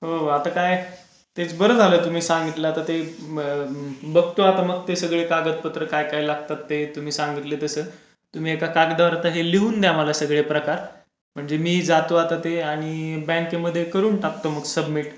हो आता काय तेच बारा झाला तुम्ही सांगतलं आता ते बघतो मग ते सगळे बघतो आता ते कागदपत्र काय काय लागतात ते तुम्ही सांगितले तसे. तुम्ही एका आता कागदावर लिहून द्या सर्व प्रकार. म्हणजे मी जातो आता ते आणि बँकेमध्ये करून टाकतो. सबमिट